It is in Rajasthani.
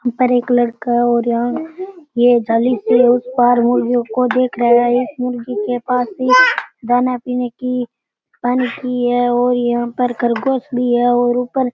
ऊपर एक लड़का है और यहाँ ये जाली के उस पार मुर्गियों को देख रहा है एक मुर्गी के पास भी दाना पीने की पानी भी है और यहाँ पर खरगोश भी है और ऊपर --